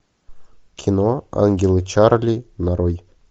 кино ангелы чарли нарой